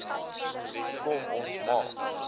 kom ons maak